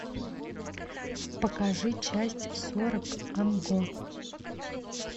покажи часть сорок ан го